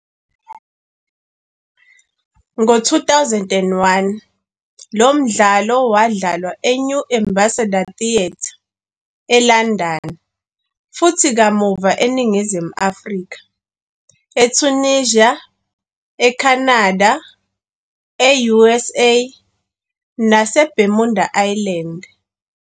Ngo-2001, lo mdlalo wadlalwa eNew Ambassador Theatre, eLondon futhi kamuva eNingizimu Afrika, eTunisia, eCanada, e-US naseBermuda Island.